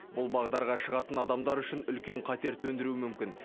бұл бағдарға шығатын адамдар үшін үлкен қатер төндіруі мүмкін